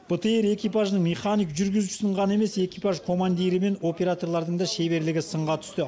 бтр экипажының механик жүргізушісінің ғана емес экипаж командирі мен операторлардың да шеберлігі сынға түсті